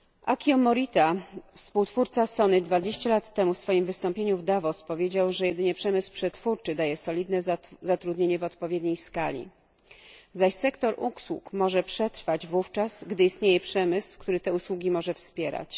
Akio Morita, współtwórca SONY, 20 lat temu w swoim wystąpieniu w Davos powiedział, że jedynie przemysł przetwórczy daje solidne zatrudnienie w odpowiedniej skali, zaś sektor usług może przetrwać wówczas, gdy istnieje przemysł, który te usługi może wspierać.